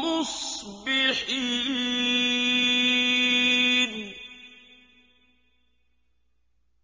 مُّصْبِحِينَ